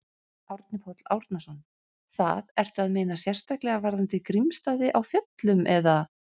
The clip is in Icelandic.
Árni Páll Árnason: Það, ertu að meina sérstaklega varðandi Grímsstaði á Fjöllum, eða?